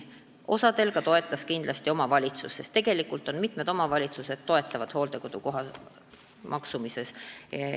Osal juhtudest toetas kindlasti omavalitsus, sest tegelikult mitmed omavalitsused toetavad inimesi hooldekodukoha eest tasumisel.